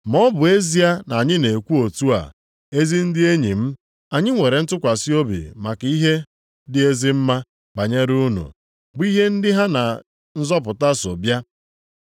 Ma ọ bụ ezie na anyị na-ekwu otu a, ezi ndị enyi m, anyị nwere ntụkwasị obi maka ihe dị ezi mma banyere unu, bụ ihe ndị ha na nzọpụta so bịa.